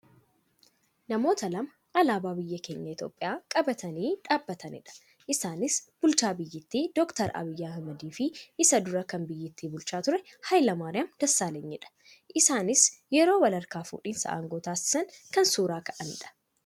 Namoota lama alaabaa biyya keenya Itiyoophiyaa qabatanii dhaabatanidha. Isaanis bulchaa biyyattii dr. Abiyyi Ahimadiifi isa dura kan biyyatti bulchaa ture Hayilamaariyaam Dassaalanyidha. Isaanis yeroo walharkaa fuudhinsa aangoo taasisan kan suuraa ka'anidha.